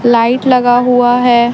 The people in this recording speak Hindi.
लाइट लगा हुआ है।